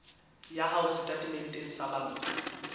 ya hao setatementeng sa banka